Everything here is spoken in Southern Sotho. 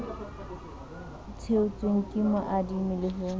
theotsweng ke moadimi le ho